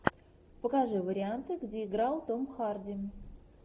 покажи варианты где играл том харди